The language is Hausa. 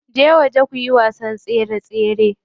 Je waje kuyi wasan tsere tsere.